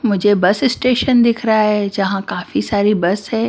मुझे bus station दिख रहा है जहां काफी सारी बस हैं।